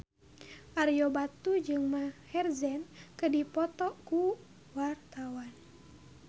Ario Batu jeung Maher Zein keur dipoto ku wartawan